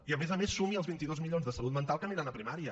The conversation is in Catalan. i a més a més sumi els vint dos milions de salut mental que aniran a primària